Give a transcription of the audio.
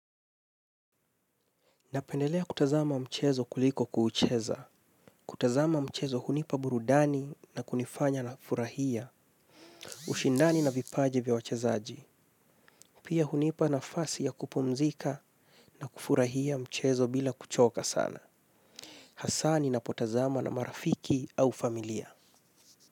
Napendelea kutazama mchezo kuliko kuucheza. Kutazama mchezo hunipa burudani na kunifanya nafurahia. Ushindani na vipaji vya wachezaji. Pia hunipa nafasi ya kupumzika na kufurahia mchezo bila kuchoka sana. Hasa ninapotazama na marafiki au familia.